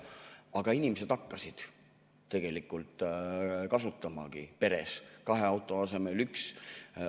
Aga inimesed hakkasid tegelikult kasutamagi peres kahe auto asemel ühte.